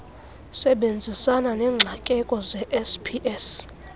sebenzisana neengxakeko zesps